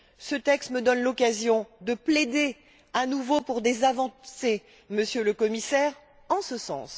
Ce texte me donne l'occasion de plaider à nouveau pour des avancées, Monsieur le Commissaire, en ce sens.